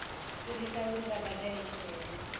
fhirisa uri vha badele tshelede